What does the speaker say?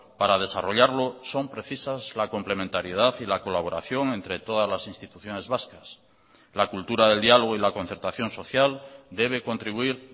para desarrollarlo son precisas la complementariedad y la colaboración entre todas las instituciones vascas la cultura del diálogo y la concertación social debe contribuir